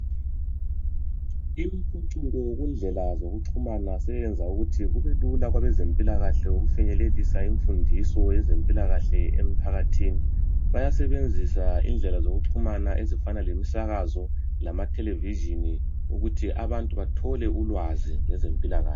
imiphucuko kundlela zokuxhumana siyenza ukuthi kubelula kwebezemplakahle ukufinyelelisa izimfundiso ngokwezempilakahle emphakathini bayasebenzisa indlela zokuxhumana ezifana lemisakazo lama thelevitshini ukuze abantu bethole ulwazi ngezempilakahle